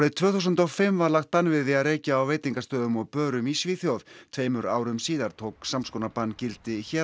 tvö þúsund og fimm var lagt bann við því að reykja á veitingastöðum og börum í Svíþjóð tveimur árum síðar tók sams konar bann gildi hér á